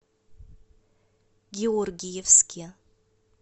георгиевске